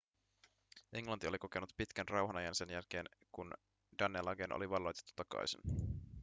englanti oli kokenut pitkän rauhanajan sen jälkeen kun danelagen oli valloitettu takaisin